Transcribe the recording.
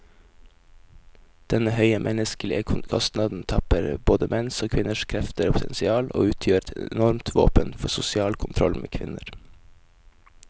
Denne høye menneskelige kostnaden tapper både menns og kvinners krefter og potensial, og utgjør et enormt våpen for sosial kontroll med kvinner.